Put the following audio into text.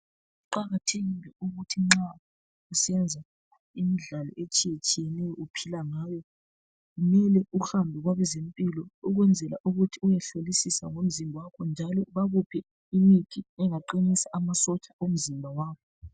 Kuqakathekile ukuthi nxa usenza imidlalo etshiyatshiyeneyo. Uphila ngayo. Kumele uhambe kwabezempilo ukwenzela ukuthi uyehlolisisa ngomzimba wakho, njalo bakuphe imithi engaqinisa amasotsha omzimba wakho..